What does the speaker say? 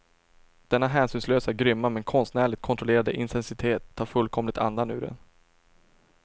Denna hänsynslösa, grymma men konstnärligt kontrollerade intensitet tar fullkomligt andan ur en.